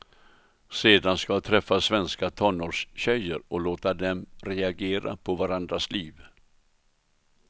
Sedan ska jag träffa svenska tonårstjejer, och låta dem reagera på varandras liv.